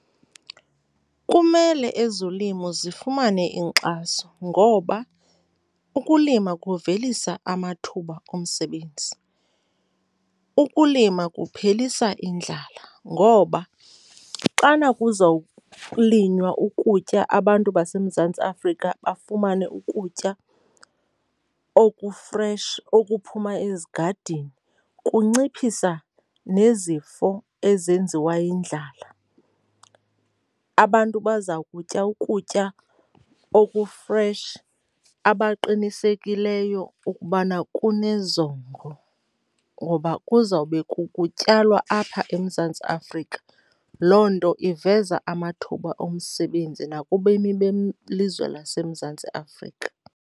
Kumele ezolimo zifumane inkxaso ngoba ukulima kuvelisa amathuba omsebenzi. Ukulima kuphelisa indlala ngoba xana kuzokulinywa ukutya, abantu baseMzantsi Afrika bafumane ukutya okufreshi okuphuma ezigadini, kunciphisa nezifo ezenziwa yindlala. Abantu baza kutya ukutya okufreshi abaqinisekeliyo ukubana kunezondlo ngoba kuzawube kutyalwa apha eMzantsi Afrika. Loo nto iveza amathuba omsebenzi nakubemi belizwe laseMzantsi Afrika.